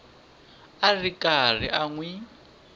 ri karhi a n wi